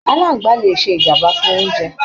Aláàngbá le ṣe ìjàmbá fún oúnjẹ!